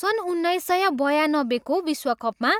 सन् उन्नाइस सय बयानब्बेको विश्वकपमा